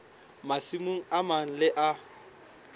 masimong a mang le a